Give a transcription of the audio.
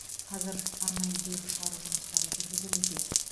қазір арнайы бұйрық шығару жұмыстары жүргізілуде